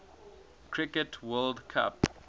cricket world cup